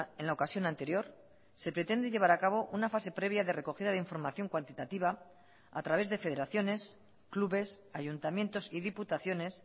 en la ocasión anterior se pretende llevar a cabo una fase previa de recogida de información cuantitativa a través de federaciones clubes ayuntamientos y diputaciones